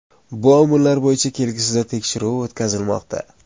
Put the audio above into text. Bu omillar bo‘yicha kelgusida tekshiruv o‘tkazilmoqda.